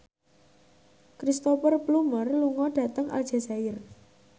Cristhoper Plumer lunga dhateng Aljazair